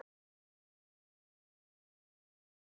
Nei, við getum það ekki.